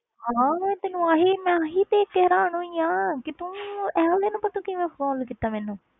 ਹਾਂ ਤੈਨੂੰ ਆਹੀ ਮੈਂ ਆਹੀ ਦੇਖ ਕੇ ਹੈਰਾਨ ਹੋਈ ਹਾਂ ਕਿ ਤੂੰ ਇਹ ਵਾਲੇ number ਤੋਂ ਕਿਵੇਂ call ਕੀਤਾ ਮੈਨੂੰ।